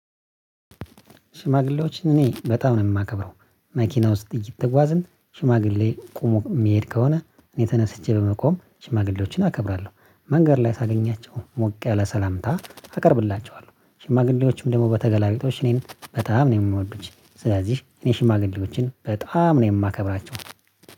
ሽማግሌዎችን እኔ በጣም ነው የማከብረው። መኪና ውስጥ እየተጓዝን ሽማግሌ ቆሞ የሚሄድ ከሆነ እኔ ተነስቼ በመቆም ሽማግሌዎችን አከብራለሁ። መንገድ ላይ ሳገኛቸው ሞቅ ያለ ሰላምታ አቀርብላቸዋለሁ። ሽማግሌዎችም ደግሞ በተገላለጦሽ እኔን በጣም ነው የሚወዱኝ። ስለዚህ እኔ ሽማግሌዎችን በጣም ነው የማከብራቸው